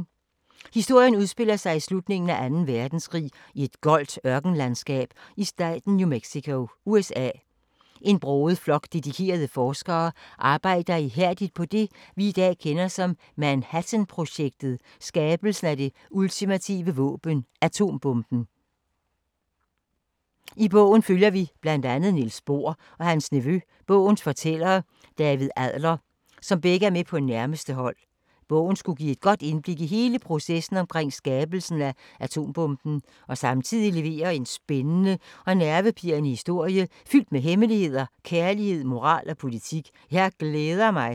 Historien udspiller sig i slutningen af 2. verdenskrig i et goldt ørkenlandskab i staten New Mexico, USA. En broget flok af dedikerede forskere arbejder ihærdigt på det vi i dag kender som Manhattanprojektet, skabelsen af det ultimative våben, atombomben. I bogen følger vi blandt andet Niels Bohr og hans nevø og bogens fortæller David Adler, som begge er med på nærmeste hold. Bogen skulle give et godt indblik i hele processen omkring skabelsen af atombomben, og samtidig levere en spændende og nervepirrende historie fyldt med hemmeligheder, kærlighed, moral og politik. Jeg glæder mig!